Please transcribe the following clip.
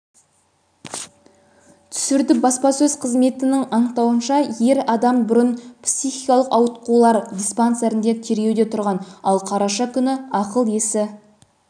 түсірді баспасөз қызметінің анықтауынша ер адам бұрын психикалықауытқулар диспансерінде тіркеуде тұрған ал қараша күні ақыл-есі